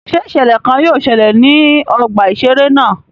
Ṣé iṣẹlẹ kàn yóò ṣẹlẹ ní ọgbà iṣere náà?